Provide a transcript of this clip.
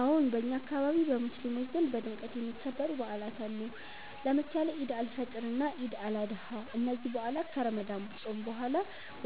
አዎን፣ በእኛ አካባቢ በሙስሊሞች ዘንድ በድምቀት የሚከበሩ በዓላት አሉ፣ ለምሳሌ ኢድ አል-ፊጥር እና ኢድ አል-አድሃ። እነዚህ በዓላት ከረመዳን ጾም በኋላ